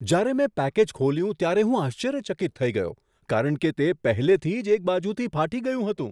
જ્યારે મેં પેકેજ ખોલ્યું ત્યારે હું આશ્ચર્યચકિત થઈ ગયો કારણ કે તે પહેલેથી જ એક બાજુથી ફાટી ગયું હતું!